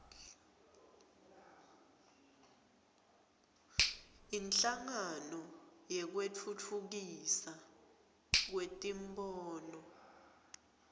inhlangano yekutfutfukiswa kwetimboni